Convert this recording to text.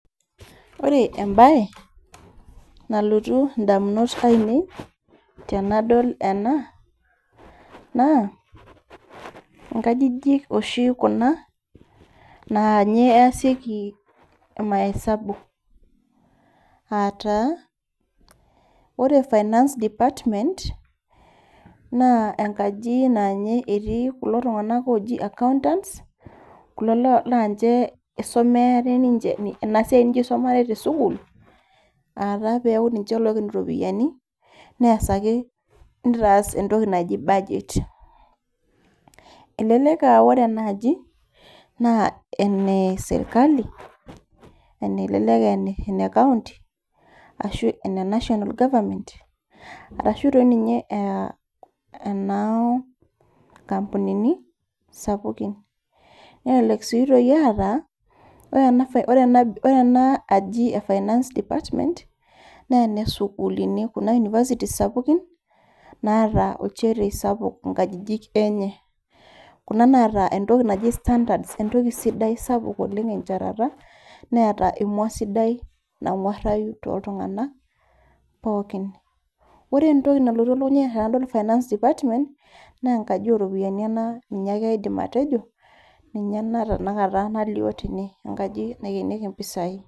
Ore embaye nalotu indamunot ainei tenadol ena naa inkajijik oshi kuna nanye easieki imaesabu ataa ore finance department naa enkaji nanye etii kulo tung'anak oji accountants kulo loo lanche isomeare ninche isomeare ninche ena siai ninche isomare tesukuul ataa peaku ninche loiken iropiyiani neasaki nitaas entoki naji budget elelek aore ena aji naa ene sirkali ene elelek ene ene county ashu ene national government arashu toi ninye ea enoo nkampunini sapukin nelelek sii itoki aata ore ena faina ore ena aji e finance department nena sukuluni kuna universities[cs[ sapukin naata olchetie sapuk inkajijik enye kuna naata entoki naji standards entoki sidai sapuk oleng enchetata neeta emua sidai nang'uarrayu toltung'anak pookin ore entoki nalotu elukunya ai tenadol finance department nenkaji oropiani ena ninye ake aidim atejo ninye ena tenakata nalio tene enkaji naikenieki impisai.